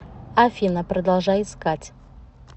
афина продолжай искать